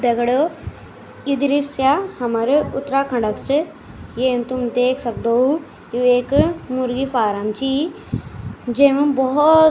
दगड़ियों यु दृश्य हमारो उत्तराखण्डो क च येम तुम देख सक्दो यु एक मुर्गी फारम चि जेमा भोत --